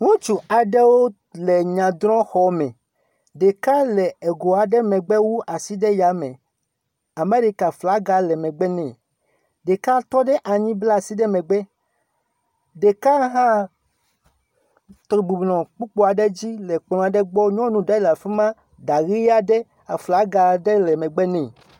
Ŋutsu aɖewo le nyadrɔxɔme. Ɖeka le go aɖe megbe wu asi ɖe ya me. Amerika flaga le megbe nɛ. Ɖeka tɔ ɖe anyi bla asi ɖe megbe. Ɖeka hã bɔbɔ nɔ kpukplu aɖe dzi nɔ kplɔ̃ gbɔ nyɔnu ɖe le afi ma ɖa ʋi aɖe aflaga ɖe le megbe nɛ.